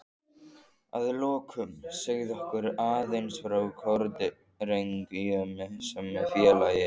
Að lokum segðu okkur aðeins frá Kórdrengjum sem félagi?